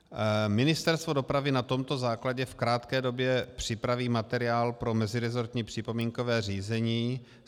Ministerstvo dopravy na tomto základě v krátké době připraví materiál pro meziresortní připomínkové řízení.